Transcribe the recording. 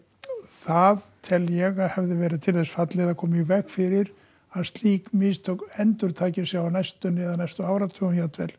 það tel ég að hefði verið til þess fallið að koma í veg fyrir að slík mistök endurtaki sig á næstunni eða á næstu áratugum